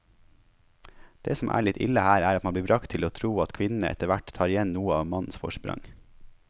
Det som er litt ille her, er at man blir bragt til å tro at kvinnene etterhvert tar igjen noe av mannens forsprang.